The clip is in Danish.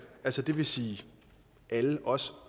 altså det vil sige alle os